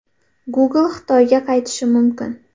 Google Xitoyga qaytishi mumkin.